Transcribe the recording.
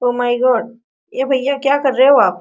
O my god ए भईया क्या कर रहे हो आप ?